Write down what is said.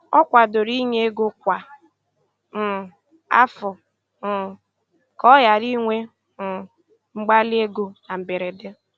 Ọ kwadoro inye ego kwa um afọ um ka ọ ghara inwe um mgbali ego na mberede